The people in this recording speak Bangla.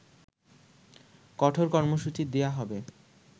কঠোর কর্মসূচি দেয়া হবে